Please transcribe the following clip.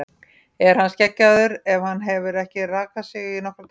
Er hann skeggjaður ef hann hefur ekki rakað sig í nokkra daga?